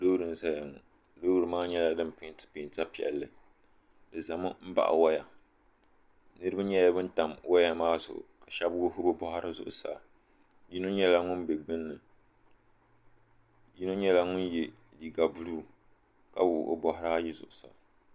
Loori n-zaya ŋɔ loori maa nyɛla din peentila peenta piɛlli di zami m-baɣi waya niriba nyɛla ban tam waya maa zuɣu ka shɛba wuɣi bɛ bɔɣiri zuɣusaa yino nyɛla ŋun be gbunni yino nyɛla ŋun ye liiga buluu ka wuɣi o bɔɣiri ayi zuɣusaa.